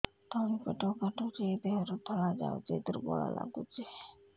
ତଳି ପେଟ କାଟୁଚି ଦେହରୁ ଧଳା ଯାଉଛି ଦୁର୍ବଳ ଲାଗୁଛି